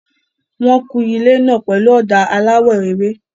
Wọ́n ń kun ilé náà pẹ̀lú ọ̀dà aláwọ̀ ewé.